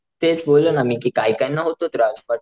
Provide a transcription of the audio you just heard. तेच बोललो ना मी कि काही काहींना होतो त्रास.